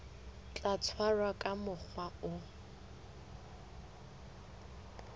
tla tshwarwa ka mokgwa o